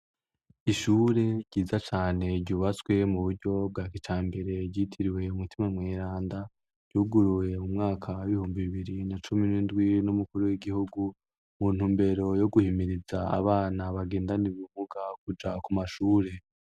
Ishure ryiza cane ryubatswe mu buryo bwa kijambere ryitiriwe Mutima mweranda ryuguruwe mu mwaka w'ibihumbi bibiri na cumi n'indwi n'umukuru w'igihugu mu ntumbero yo guhimiriza abana bagendana ubumuga kuja ku mashure.